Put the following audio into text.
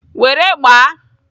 Were gbaa!